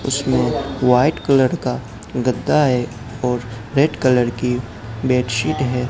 इसमें white colour का गद्दा है और रेड कलर की बेडशीट है।